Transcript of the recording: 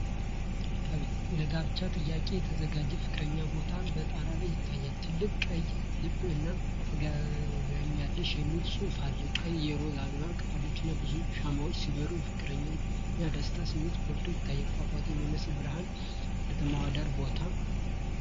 ለጋብቻ ጥያቄ የተዘጋጀ ፍቅረኛ ቦታ በጣራ ላይ ይታያል። ትልቅ ቀይ ልብ እና "ታገብኛለስህ" የሚል ጽሑፍ አለ። ቀይ የሮዝ አበባ ቅጠሎችና ብዙ ሻማዎች ሲበሩ፣ የፍቅርና የደስታ ስሜት ጎልቶ ይታያል። ፏፏቴ የሚመስሉ ብርሃናትና የከተማዋ ዳራ ቦታውን ያደምቁታል።